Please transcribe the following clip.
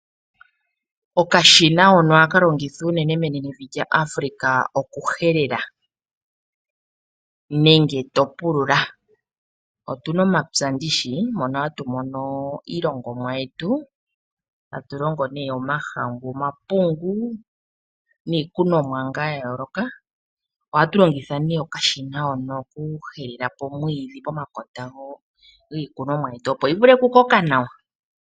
Okashina hono ohaka longithwa unene menenevi lyaAfrika okuhelela nenge to pulula. Otu na omapya mono hatu mono iilongomwa yetu. Ohatu longo omapungu, omahangu niikunomwa ya yooloka. Ohatu longitha okashina hono okuteta po omwiidhi pomakota giimeno yetu, opo yi vule okukoka nawa.